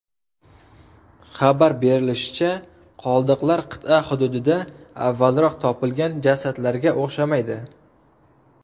Xabar berilishicha, qoldiqlar qit’a hududida avvalroq topilgan jasadlarga o‘xshamaydi.